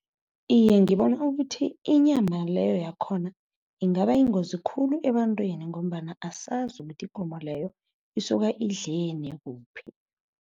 Iye, ngibona ukuthi inyama leyo yakhona ingaba yingozi khulu ebantwini ngombana asazi ukuthi ikomo leyo isuka indleleni kuphi.